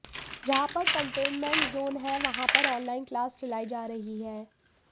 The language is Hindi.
जहां पर कंटेनमेंट जोन है वहां पर ऑनलाइन क्लास चलाई जा रही है